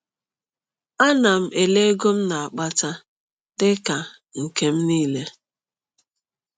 Ana m ele ego m na-akpata dị ka “nke m niile”?